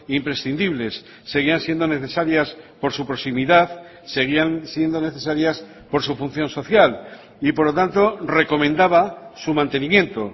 imprescindibles seguían siendo necesarias por su proximidad seguían siendo necesarias por su función social y por lo tanto recomendaba su mantenimiento